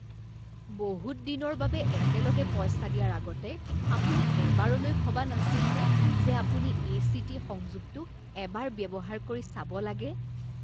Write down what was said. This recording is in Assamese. বহুত দিনৰ বাবে একেলগে পইচা দিয়াৰ আগতে আপুনি এবাৰলৈ ভবা নাছিলনে যে আপুনি এ.চি.টি. সংযোগটো এবাৰ ব্যৱহাৰ কৰি চাব লাগে?